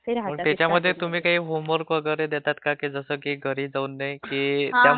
त्यंच्यमध्ये तुम्ही काही होमवर्क देता का..जसे की घरी ..